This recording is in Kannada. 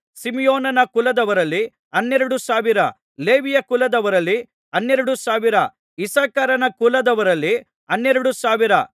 ಸಿಮೆಯೋನನ ಕುಲದವರಲ್ಲಿ ಹನ್ನೆರಡು ಸಾವಿರ ಲೇವಿಯ ಕುಲದವರಲ್ಲಿ ಹನ್ನೆರಡು ಸಾವಿರ ಇಸ್ಸಕಾರನ ಕುಲದವರಲ್ಲಿ ಹನ್ನೆರಡು ಸಾವಿರ